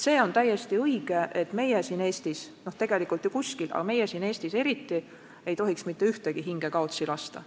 See on täiesti õige, et meie siin Eestis – tegelikult ju mitte kuskil, aga meie siin Eestis eriti – ei tohiks mitte ühtegi hinge kaotsi lasta.